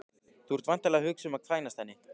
Þú ert væntanlega að hugsa um að kvænast henni